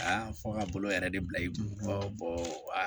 Aa fɔ a ka bolo yɛrɛ de bila i kun